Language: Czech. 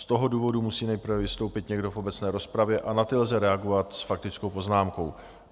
Z toho důvodu musí nejprve vystoupit někdo v obecné rozpravě a na ty lze reagovat s faktickou poznámkou.